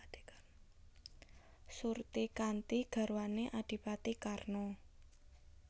Surtikanti garwané Adhipati Karna